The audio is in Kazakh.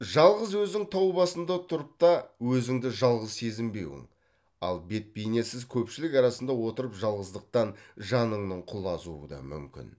жалғыз өзің тау басында тұрып та өзіңді жалғыз сезінбеуің ал бет бейнесіз көпшілік арасында отырып жалғыздықтан жаныңның құлазуы да мүмкін